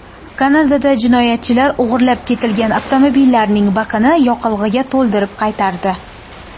Kanadada jinoyatchilar o‘g‘irlab ketilgan avtomobilning bakini yoqilg‘iga to‘ldirib qaytardi.